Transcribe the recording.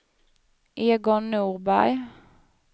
Egon Norberg